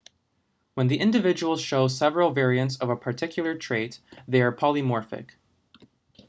when the individuals show several variants of a particular trait they are polymorphic